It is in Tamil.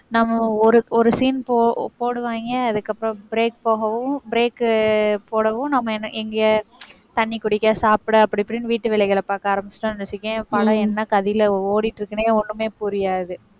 நம்ம ஒரு ஒரு scene போ~ போடுவாங்க. அதுக்கப்புறம் break போகவும் break போடவும் நம்ம என்ன எங்க தண்ணி குடிக்க, சாப்பிட, அப்படி இப்படின்னு வீட்டு வேலைகளைப் பாக்க ஆரம்பிச்சுட்டோன்னு வெச்சுக்கயேன் படம் என்ன கதியில ஓடிட்டு இருக்குன்னே ஒண்ணுமே புரியாது.